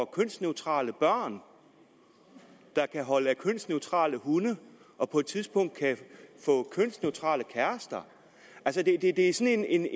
kønsneutrale børn der kan holde af kønsneutrale hunde og på et tidspunkt kan få kønsneutrale kærester altså det er sådan en